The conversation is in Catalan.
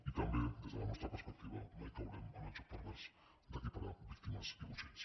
i també des de la nostra perspectiva mai caurem en el joc pervers d’equiparar víctimes i botxins